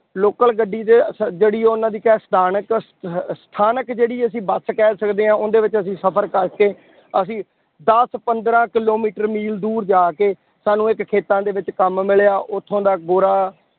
Local ਗੱਡੀ ਤੇ ਸ ਜਿਹੜੀ ਉਹਨਾਂ ਕਹਿ ਸਥਾਨਕ ਸ ਅਹ ਸਥਾਨਕ ਜਿਹੜੀ ਅਸੀਂ ਬਸ ਕਹਿ ਸਕਦੇ ਹਾਂ ਉਹਦੇ ਵਿੱਚ ਅਸੀਂ ਸਫ਼ਰ ਕਰਕੇ ਅਸੀਂ ਦਸ ਪੰਦਰਾਂ ਕਿੱਲੋਮੀਟਰ ਮੀਲ ਦੂਰ ਜਾ ਕੇ ਸਾਨੂੰ ਇੱਕ ਖੇਤਾਂ ਦੇ ਵਿੱਚ ਕੰਮ ਮਿਲਿਆ ਉੱਥੋਂ ਦਾ ਗੋਰਾ